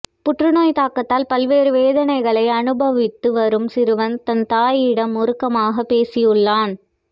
புற்றுநோய் தாக்கத்தால் பல்வேறு வேதனைகளை அனுபவித்து வரும் சிறுவன் தன் தாயிடம் உருக்கமாக பேசியுள்ளான்